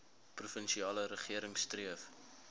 provinsiale regering streef